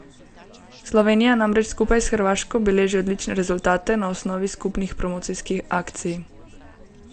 Slovenija namreč skupaj s Hrvaško beleži odlične rezultate na osnovi skupnih promocijskih akcij.